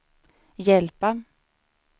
hjälpa